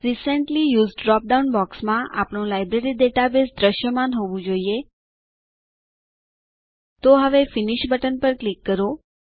recently used drop down બોક્સમાં આપણું library database દૃશ્યમાન હોવું જોઈએ તો હવે ફિનિશ બટન પર ક્લિક કરો